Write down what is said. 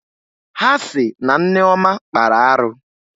Ha sị na Nneọma kpara arụ